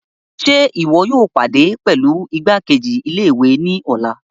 Ṣe iwọ yóò pàdé pẹlú igbakeji-ilé-ìwé ni ọlá?